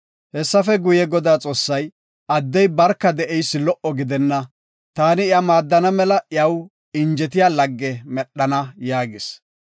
Hessafe guye, Godaa Xoossay, “Addey barka de7eysi lo77o gidenna. Taani iya maaddana mela iyaw injetiya lagge medhana” yaagis.